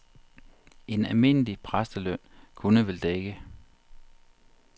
En almindelig præsteløn kunne vel dække.